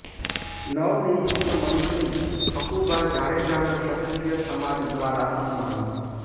નવનિયૂકત મંત્રી હકુભા જાડેજાનું ક્ષત્રીય સમાજ દ્વારા સન્માન